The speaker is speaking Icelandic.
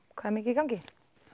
hvað er mikið í gangi